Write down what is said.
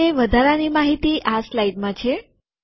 તો તે વધારાની માહિતી આ સ્લાઈડમાં છે